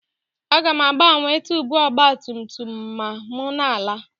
Aga m agbanwe tuubu ọgba tum tum ma m na-ala